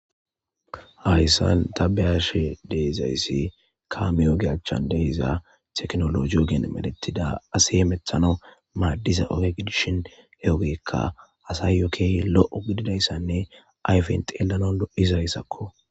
Haysan ta be7ashe de7izaysi kaame oge achan de7iza tekinoloje ogen medhettida asi hametanaw madiza oge gidishin he ogeyka asayo keehi lo7o gididaysanne ayfen xeelanaw lo7izaysako.